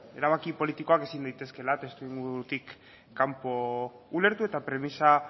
erabaki politikoak ezin daitezkeela testuingurutik kanpo ulertu eta premisa